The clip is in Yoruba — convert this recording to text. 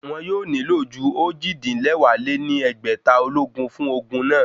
Wọn yóò nílò ju ojì-din-lẹwá lé ní ẹgbẹ́ta ológun fún ogun náà